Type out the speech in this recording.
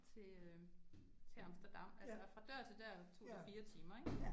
Til øh til Amsterdam altså fra dør til dør tog det 4 timer ik